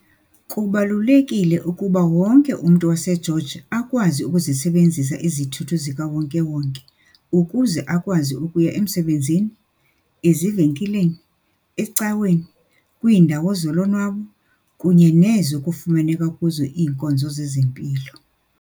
Kubalulekile ukuba wonke umntu waseGeorge akwazi ukuzisebenzisa izithuthi ziwonke-wonke ukuze akwazi ukuya emsebenzini, ezivenkileni, ecaweni, kwiindawo zolonwabo kunye nezo kufumaneka kuzo iinkonzo zezempilo.